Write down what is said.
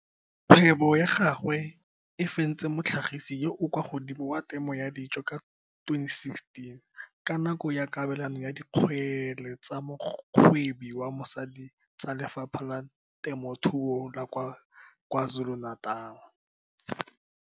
Kgwebo ya gagwe e fentse motlhagisi yo o kwa godimo wa temo ya dijo ka 2016 ka nako ya kabelano ya Dikgele tsa Mogwebi wa Mosadi tsa Lefapha la Temothuo la kwa KwaZulu-Natal.